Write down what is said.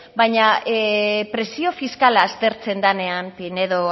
baina presio fiskala aztertzen denean pinedo